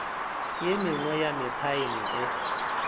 e mengwe ya mephaene e